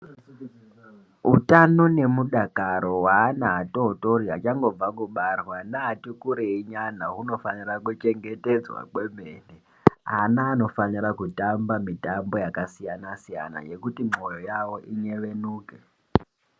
Utano nemudakaro weana adoodori achangobva kubarwa naana achikurei nyana unofanira kuchengetedzwa kwemene. Ana anofanira kutamba mitambo yakasiyana siyana yekuti mwoyo yavo inyevenuke.